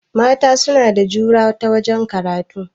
Mata suna da jura ta wajen karatu